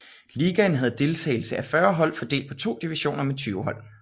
Ligaen havde deltagelse af 40 hold fordelt på to divisioner med 20 hold